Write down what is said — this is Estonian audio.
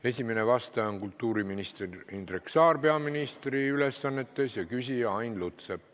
Esimene vastaja on kultuuriminister Indrek Saar peaministri ülesannetes ja küsija Ain Lutsepp.